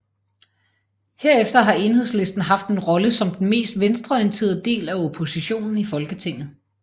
Herefter har Enhedslisten haft en rolle som den mest venstreorienterede del af oppositionen i Folketinget